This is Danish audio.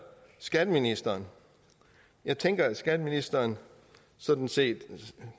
skatteministeren jeg tænker at skatteministeren sådan set